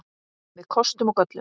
Með kostum og göllum.